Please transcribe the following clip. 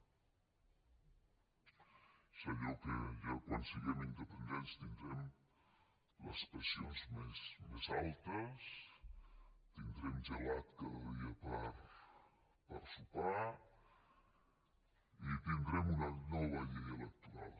és allò que quan siguem independents tindrem les pensions més altes tindrem gelat cada dia per sopar i tindrem una nova llei electoral